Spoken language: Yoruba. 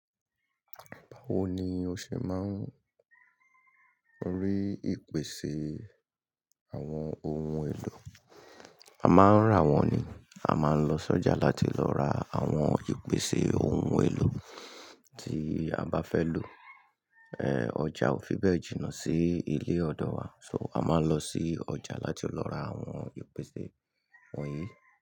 Báwo ni o ṣe máa ń rí ìpèsè àwọn ohun èlò? A máa ń rà wọ́n ni. A máa ń lọ sọ́jà láti lọ ra àwọn ìpèsè ohun èlò tí a bá fẹ́ lò. È ọjà ò fi bẹ́ẹ̀ jìnà sí ilé-ọdọ wa. So, a máa ń lọ sí ọjà láti lọ ra àwọn ìpèsè wọ̀nyí.